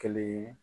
Kelen ye